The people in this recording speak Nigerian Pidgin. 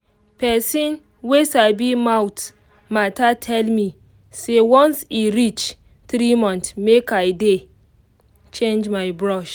pesin wey sabi mouth matter tell me say once e reach three month make i dey change my brush